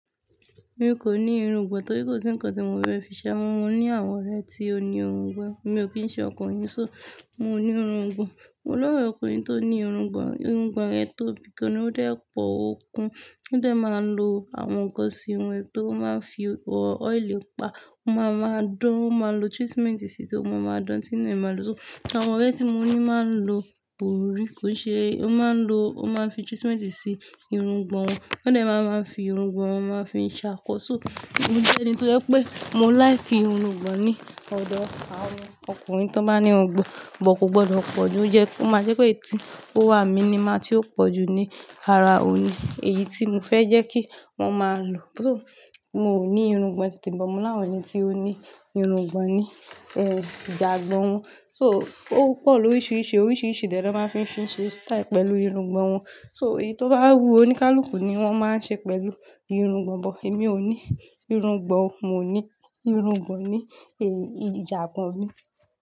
Mi kò ní irungbò torí kò sí ǹkan tí mo fi ṣe. Àmo mọ ní àwọn ọ̀rẹ́ tí ó ní irungbò. Èmi ò kí ń ṣe ọkùnrin, so mò ní irungbò. Mo ni ọ̀rẹ́ ọkùnrin tó ní irungbò, irungbò rẹ̀ tóbi gan ni, ó dẹ́pọ̀ ó kún. Ó dẹ máa ń lò àwọn ǹkan sí wọ́n tó máa ń fi oil pa. Ó máa ma dán, ó máa lò treatment sí i tó máa ma dán, tìnu e máa dùn. So àwọn ọ̀rẹ́ tí mo ní máa ń lò orí, kò ṣe, ó máa ń lò, ó máa ń fi treatment sí irungbò wọn. Ó dẹ máa máa ń fi irungbò wọn máa ń fi ṣàkọ. So mo jẹ́ ẹni tó yẹ pé mo like irungbò ní ọ̀dọ̀ àwọn ọkùnrin tó bá ní irungbò. But kò gbọdọ̀ pọ̀ jù, ó jẹ́ ó ma jẹ́ irú èyí tó wà minimal tí ó pọ̀ jù ní ara òní. Èyí tí mo fẹ́ jẹ́ kí wọ́n máa lò. So mò ní irungbò nitemi but mo ni àwọn ẹni tí ó ní irungbò ní, ìjàgbọn wọn. So ó pọ̀ lóríṣiríṣi, oríṣiríṣi dẹ na máa ń fi fi ṣẹ́ style pẹ̀lú irungbò wọn. So èyí tó bá wú oníkálùkù ni wọ́n máa ń ṣe pẹ̀lú irungbò, but èmi ò ní irungbò. Mò ní irungbò ní, ẹ́, ìjàgbọn mi.